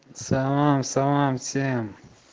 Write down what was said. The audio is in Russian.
салам салам всем